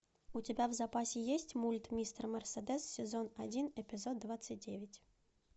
у тебя в запасе есть мульт мистер мерседес сезон один эпизод двадцать девять